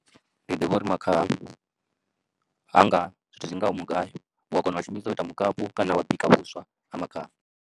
Ndi ḓivha uri makhaha ha nga zwithu zwi ngaho mugayo u a kona u shumisa u ita mukapi kana wa bika vhuswa ha makhaha.